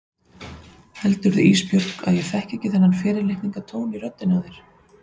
Heldurðu Ísbjörg að ég þekki ekki þennan fyrirlitningartón í röddinni á þér?